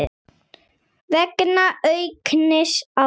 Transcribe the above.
vegna aukins álags.